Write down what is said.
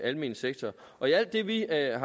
almene sektor og i alt det vi er